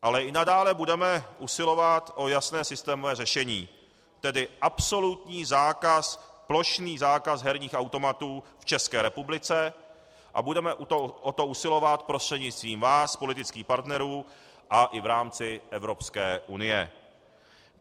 Ale i nadále budeme usilovat o jasné systémové řešení, tedy absolutní zákaz, plošný zákaz herních automatů v České republice, a budeme o to usilovat prostřednictvím vás, politických partnerů, a i v rámci Evropské unie.